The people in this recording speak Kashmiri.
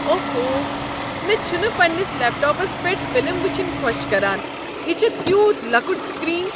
اوہو۔ مےٚ چھُنہٕ پنٛنس لیپ ٹاپس پیٹھ فلم وٕچھنۍ خۄش كران۔ یہ چھ تیوٗت لۄکٹ سکرین۔